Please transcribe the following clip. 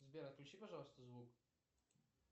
сбер отключи пожалуйста звук